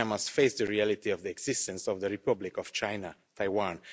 China must face the reality of the existence of the Republic of Taiwan.